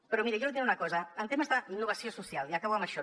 però miri jo li diré una cosa en temes d’innovació social i acabo amb això